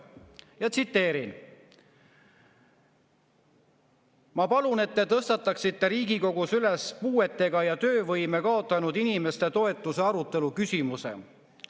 Ja tsiteerin: "Ma palun, et te tõstataksite Riigikogus üles puuetega ja töövõime kaotanud inimeste toetuse arutelu küsimuse.